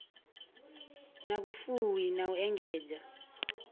na vhufuwi na u engedza